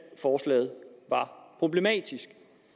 forslaget var problematisk